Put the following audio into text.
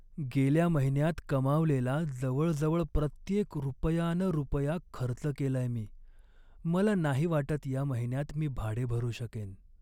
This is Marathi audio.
गेल्या महिन्यात कमावलेला जवळजवळ प्रत्येक रुपया न रुपया खर्च केलाय मी. मला नाही वाटत या महिन्यात मी भाडे भरू शकेन.